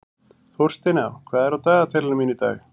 Þórsteina, hvað er á dagatalinu mínu í dag?